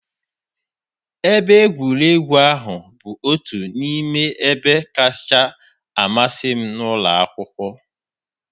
Ebe egwuregwu ahụ bụ otu n'ime ebe kacha amasị m n'ụlọ akwụkwọ